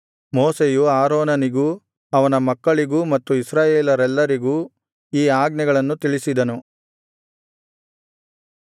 ಮೋಶೆಯು ಆರೋನನಿಗೂ ಅವನ ಮಕ್ಕಳಿಗೂ ಮತ್ತು ಇಸ್ರಾಯೇಲರೆಲ್ಲರಿಗೂ ಈ ಆಜ್ಞೆಗಳನ್ನು ತಿಳಿಸಿದನು